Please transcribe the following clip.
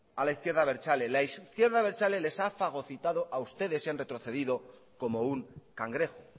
a la izquierda abertzale la izquierda abertzale les ha fagocitado a ustedes y han retrocedido como un cangrejo